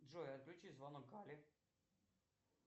джой отключи звонок алле